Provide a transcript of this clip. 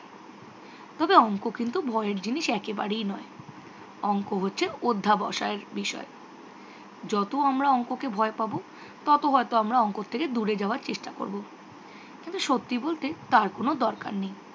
তবে অঙ্ক কিন্তু ভয়ের জিনিস একেবারেই নয়। অঙ্ক হচ্ছে অধ্যাবসায়ের বিষয়। যত আমরা অঙ্ককে ভয় পাবো ততো হয়ত আমরা অঙ্ক থেকে দূরে যাওয়ার চেষ্টা করবো। কিন্তু সত্যি বলতে তার কোনও দরকার নেই।